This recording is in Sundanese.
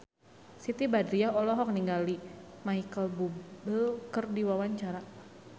Siti Badriah olohok ningali Micheal Bubble keur diwawancara